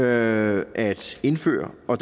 at indføre og